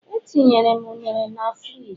Etinyere m ụnere na friji